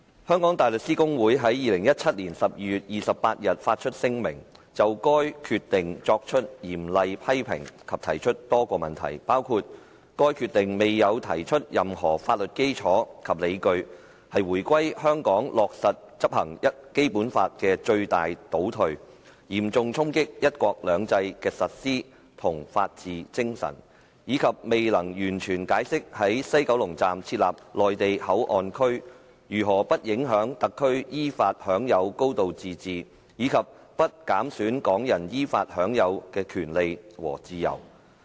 香港大律師公會在2017年12月28日發出聲明，就該決定作出嚴厲批評及提出多個問題，包括該決定未有提出任何法律基礎及理據，是回歸後香港落實執行《基本法》的最大倒退，嚴重衝擊"一國兩制"的實施和法治精神，以及未能完全解釋在西九龍站設立內地口岸區如何不影響特區依法享有高度自治及不減損港人依法享有的權利和自由。